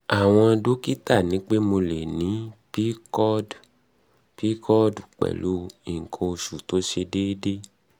àwọn dọ́kítà ní pé mo lè ní pcod pcod pẹ̀lú nǹkan oṣù tó ṣe déédé